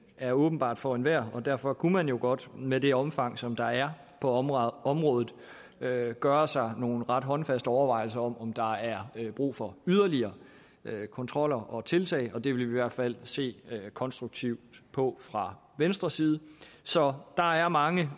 er åbenbart for enhver og derfor kunne man jo godt med det omfang som der er på området området gøre gøre sig nogle ret håndfaste overvejelser om om der er brug for yderligere kontrol og tiltag og det vil vi i hvert fald se konstruktivt på fra venstres side så der er mange